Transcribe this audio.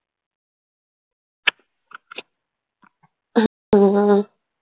हम्म.